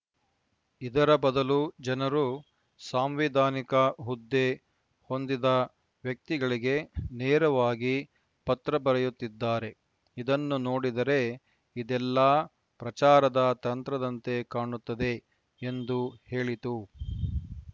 ಇದರ ಬದಲು ಜನರು ಸಾಂವಿಧಾನಿಕ ಹುದ್ದೆ ಹೊಂದಿದ ವ್ಯಕ್ತಿಗಳಿಗೆ ನೇರವಾಗಿ ಪತ್ರ ಬರೆಯುತ್ತಿದ್ದಾರೆ ಇದನ್ನು ನೋಡಿದರೆ ಇದೆಲ್ಲಾ ಪ್ರಚಾರದ ತಂತ್ರದಂತೆ ಕಾಣುತ್ತದೆ ಎಂದು ಹೇಳಿತು